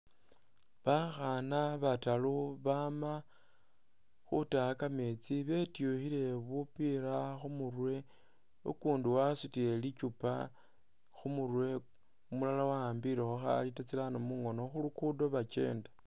Bakhana bataru bama khutaya kametsi betwukhile bupila khumurwe ukundi wasutile likyupa khumurwe umulala wa’abilekho kha liter tsirano mungono khulugudo bakyenda.